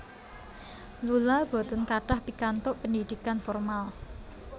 Lula boten kathah pikantuk pendidikan formal